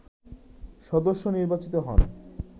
সদস্য নির্বাচিত হন